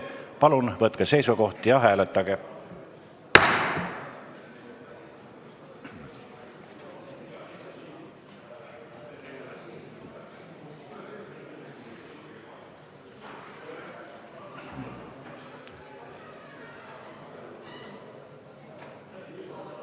Palun võtke seisukoht ja hääletage!